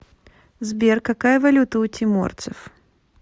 сбер какая валюта у тиморцев